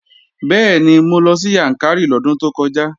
Bẹ́ẹ̀ni, mo lọ sí Yàǹkàrí lọ́dún tó kọjá